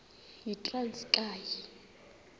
yitranskayi